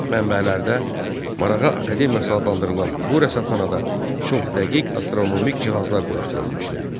Mənbələrdə Marağa Akademiyası adlandırılan bu rəsədxanada çox dəqiq astronomik cihazlar quraşdırılmışdı.